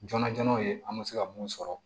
Joona joona ye an bɛ se ka mun sɔrɔ